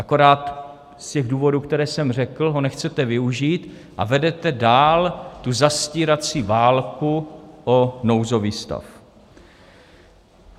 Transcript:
Akorát z těch důvodů, které jsem řekl, ho nechcete využít a vedete dál tu zastírací válku o nouzový stav.